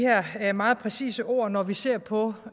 her meget præcise ord når vi ser på